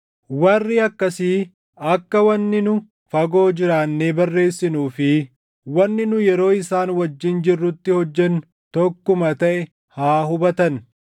Warri akkasii akka wanni nu fagoo jiraannee barreessinuu fi wanni nu yeroo isaan wajjin jirrutti hojjennu tokkuma taʼe haa hubatan.